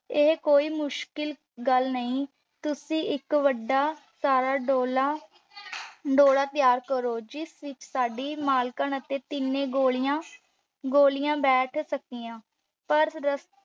ਮੁਸ਼ਕਿਲ ਗੱਲ ਨਹੀਂ। ਤੁਸੀਂ ਇੱਕ ਵੱਡਾ ਸਾਰਾ ਡੋਲਾ ਡੋਲਾ ਤਿਆਰ ਕਰੋ ਜਿਸ ਵਿੱਚ ਸਾਡੀ ਮਾਲਕਣ ਅਤੇ ਤਿੰਨੇ ਗੋਲੀਆਂ, ਗੋਲੀਆਂ ਬੈਠ ਸਕਦੀਆਂ, ਪਰ